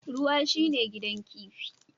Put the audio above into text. Ruwa shine gidan kifi